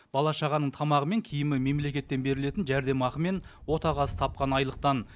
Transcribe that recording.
бала шағаның тамағы мен киімі мемлекеттен берілетін жәрдемақы мен отағасы тапқан айлықтан